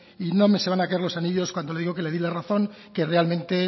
y no se me van a caer los anillos cuando le digo que le di la razón que realmente